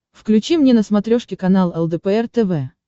включи мне на смотрешке канал лдпр тв